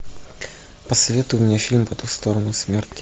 посоветуй мне фильм по ту сторону смерти